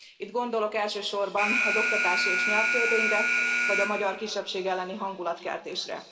Itt gondolok elsősorban az oktatási és nyelvtörvényre, vagy a magyar kisebbség elleni hangulatkeltésre.